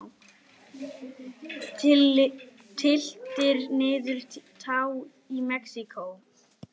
Tylltir niður tá í Mexíkó.